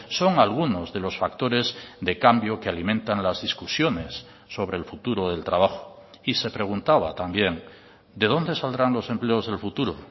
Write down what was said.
son algunos de los factores de cambio que alimentan las discusiones sobre el futuro del trabajo y se preguntaba también de dónde saldrán los empleos del futuro